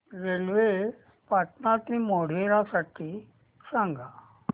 railway Patan ते मोढेरा साठी सांगा